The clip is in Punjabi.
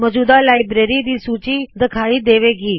ਮੌਜੂਦਾ ਲਾਇਬਰੇਰੀ ਦੀ ਸੂੱਚੀ ਦਿਖਾਈ ਦੇਵੇ ਗੀ